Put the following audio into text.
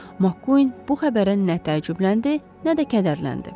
Mak bu xəbərə nə təəccübləndi, nə də kədərləndi.